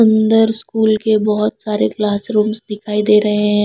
अंदर स्कूल के बहुत सारे क्लासरूम्स दिखाई दे रहे हैं।